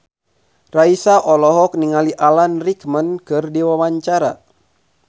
Raisa olohok ningali Alan Rickman keur diwawancara